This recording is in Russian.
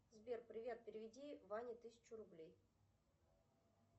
сбер привет переведи ване тысячу рублей